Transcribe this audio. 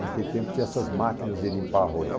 Naquele tempo tinha essas máquinas de limpar arroz.